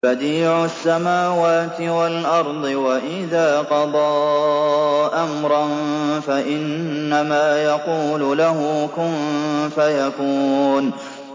بَدِيعُ السَّمَاوَاتِ وَالْأَرْضِ ۖ وَإِذَا قَضَىٰ أَمْرًا فَإِنَّمَا يَقُولُ لَهُ كُن فَيَكُونُ